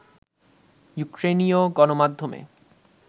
ইউক্রেইনীয় গণমাধ্যমে